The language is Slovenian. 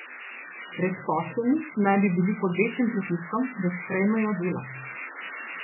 Brezposelni naj bi bili pod večjim pritiskom, da sprejmejo delo.